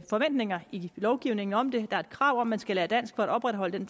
forventninger i lovgivningen om det der er et krav om at man skal lære dansk for at opretholde den